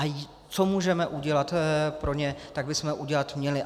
A co můžeme udělat pro ně, tak bychom udělat měli.